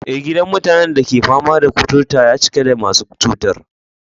Eh, gidan mutanen da ke fama da kuturta ya cika da masu cutar.